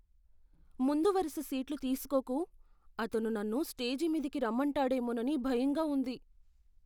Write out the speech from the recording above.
ముందు వరుస సీట్లు తీసుకోకు. అతను నన్ను స్టేజి మీదికి రమ్మంటాడేమోనని భయంగా ఉంది.